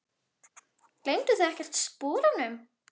Gleymduð þið ekkert sporunum?